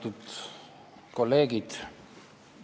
Austatud kolleegid!